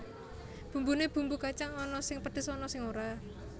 Bumbune bumbu kacang ana sing pedhes ana sing ora